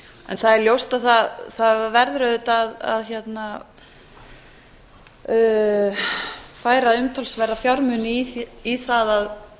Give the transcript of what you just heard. en það er ljóst að það verður auðvitað að færa umtalsverða fjármuni í það